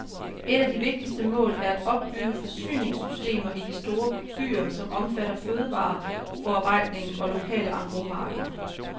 Et af de vigtigste mål er at opbygge forsyningssystemer i de store byer, som omfatter fødevareforarbejdning og lokale engrosmarkeder.